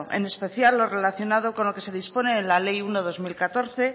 en especial lo relacionado con lo que se dispone en la ley uno barra dos mil catorce